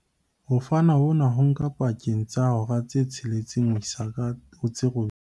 Ho fana hona ho nka pakeng tsa hora tse tsheletseng ho isa ho tse robedi.